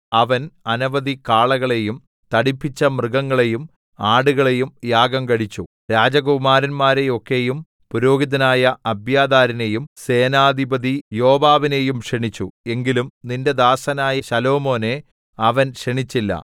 അവൻ അനവധി കാളകളെയും തടിപ്പിച്ച മൃഗങ്ങളെയും ആടുകളെയും യാഗം കഴിച്ചു രാജകുമാരന്മാരെയൊക്കെയും പുരോഹിതനായ അബ്യാഥാരിനെയും സേനാധിപതി യോവാബിനെയും ക്ഷണിച്ചു എങ്കിലും നിന്റെ ദാസനായ ശലോമോനെ അവൻ ക്ഷണിച്ചില്ല